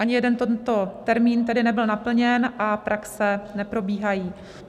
Ani jeden tento termín tedy nebyl naplněn a praxe neprobíhají.